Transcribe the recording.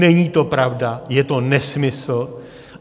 Není to pravda, je to nesmysl.